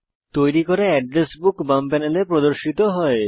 তৈরী করা address book বাম প্যানেলে প্রদর্শিত হয়